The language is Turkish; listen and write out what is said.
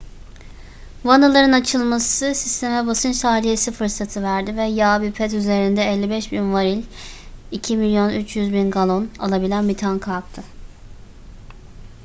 vanaların açılması sisteme basınç tahliyesi fırsatı verdi ve yağ bir ped üzerinde 55.000 varil 2,3 milyon galon alabilen bir tanka aktı